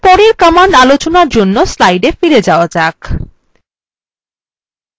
এবার পরের command আলোচনার জন্য slidesএ ফিরে যাওয়া যাক